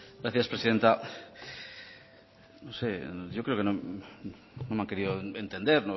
gracias presidenta no sé yo creo que no me ha querido entender